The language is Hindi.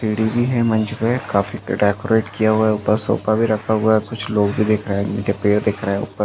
सीढ़ी भी है मंच पे काफ़ी डेकोरेट किया हुआ है उपर सोफा भी रखा हुआ है कुछ लोग भी दिख रहे है उनके पेड़ दिख रहे है उपर --